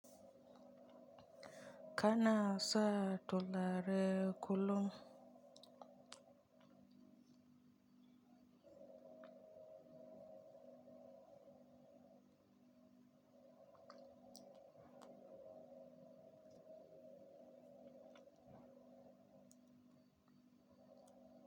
Kana sa turare kullum.